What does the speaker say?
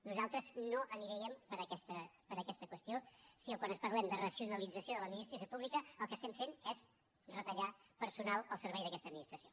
nosaltres no aniríem per aquesta qüestió si quan parlem de racionalització de l’administració pública el que fem és retallar personal al servei d’aquesta administració